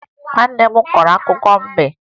Nwanne m korọ akụkọ mbe